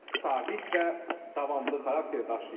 Sabit və davamlı xarakter daşıyır.